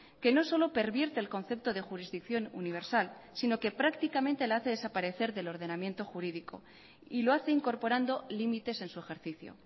que no solo pervierte el concepto de jurisdicción universal sino que prácticamente la hace desaparecer del ordenamiento jurídico y lo hace incorporando límites en su ejercicio